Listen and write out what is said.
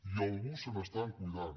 i algú se n’està cuidant